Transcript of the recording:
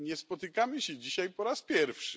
Nie spotykamy się dzisiaj po raz pierwszy.